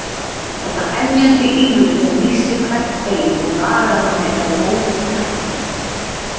Þetta emjandi ýlfur sem nístir hvert bein og nagar mann inn að rótum hjartans.